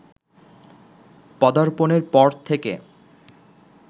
পদার্পণের পর থেকে